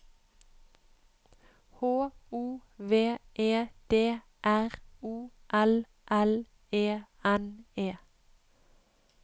H O V E D R O L L E N E